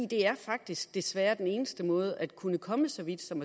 det er faktisk desværre den eneste måde at kunne komme så vidt som